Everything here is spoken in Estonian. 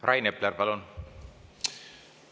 Rain Epler, palun!